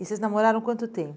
E vocês namoraram quanto